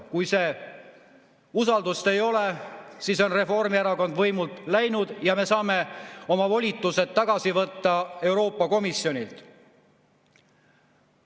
Kui usaldust ei ole, siis on Reformierakond võimult läinud ja me saame oma volitused võtta Euroopa Komisjonilt tagasi.